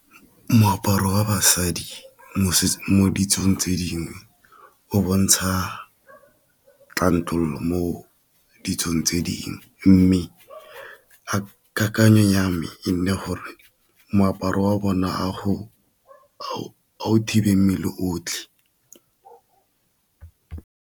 Moaparo wa basadi mo ditsong tse dingwe o bontsha tlontlololo mo ditsong tse dingwe, mme kakanyo ya me e nne gore moaparo wa bona a go thibe mmele otlhe.